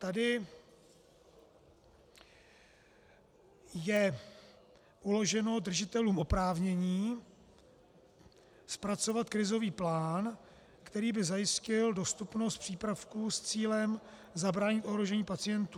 Tady je uloženo držitelům oprávnění zpracovat krizový plán, který by zajistil dostupnost přípravků s cílem zabránit ohrožení pacientů.